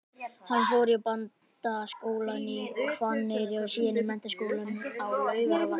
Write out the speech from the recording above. Hann fór í Bændaskólann á Hvanneyri og síðan í Menntaskólann á Laugarvatni.